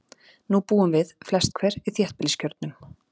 Nú búum við, flest hver, í þéttbýliskjörnum.